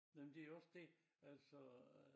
Nej men det jo også det altså øh